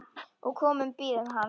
og komu bíðum hans